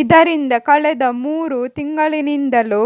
ಇದರಿಂದ ಕಳೆದ ಮೂರು ತಿಂಗಳಿನಿಂದಲೂ